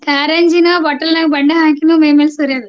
ಕಾರಂಜಿನ bottle ನ್ಯಾಗ್ ಬಣ್ಣ ಹಾಕಿನ ಮೈಮ್ಯಾಲ್ ಸುರಿಯೋದು.